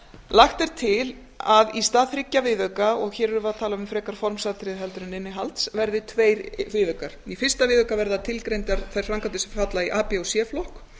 lagt er til að í stað þriggja viðauka og hér erum við að tala um frekari formsatriði heldur en innihalds verði tveir viðaukar í fyrsta viðauka verða tilgreindar þær framkvæmdir sem falla í a b og c flokk